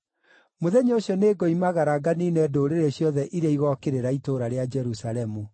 Mũthenya ũcio nĩngoimagara nganiine ndũrĩrĩ ciothe iria igookĩrĩra itũũra rĩa Jerusalemu.